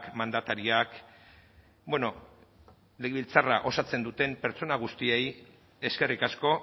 mandatariak bueno legebiltzarrak osatzen duten pertsona guztiei eskerrik asko